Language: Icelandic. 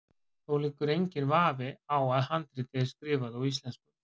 Þó liggur enginn vafi á að handritið er skrifað á íslensku.